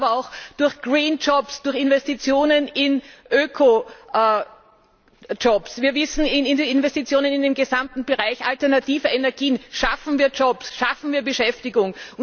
Wir wissen aber auch, durch Green Jobs, durch Investitionen in Öko Jobs, durch Investitionen in den gesamten Bereich alternativer Energien schaffen wir Jobs, schaffen wir Beschäftigung.